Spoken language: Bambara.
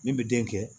Min bɛ den kɛ